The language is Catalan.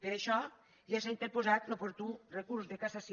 per això ja s’ha interposat l’oportú recurs de cassació